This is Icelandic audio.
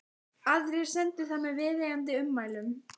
Aðrir sendu það með viðeigandi ummælum.